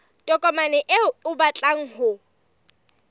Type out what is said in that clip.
tokomane eo o batlang ho